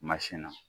na